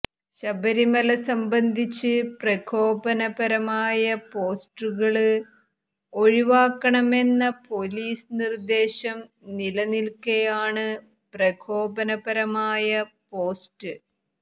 ശബരിമല സംബന്ധിച്ച് പ്രകോപനപരമായ പോസ്റ്റുകള് ഒഴിവാക്കണമെന്ന പോലീസ് നിര്ദേശം നിലനില്ക്കെയാണ് പ്രകോപനപരമായ പോസ്റ്റ്